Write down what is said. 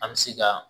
An bɛ se ka